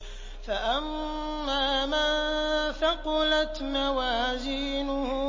فَأَمَّا مَن ثَقُلَتْ مَوَازِينُهُ